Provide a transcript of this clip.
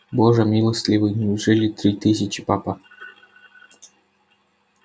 боже милостивый неужели три тысячи папа